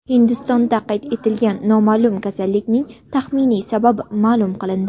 Hindistonda qayd etilgan noma’lum kasallikning taxminiy sababi ma’lum qilindi.